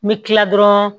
N bɛ kila dɔrɔn